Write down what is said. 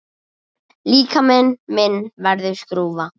Líkami minn verður skrúfa.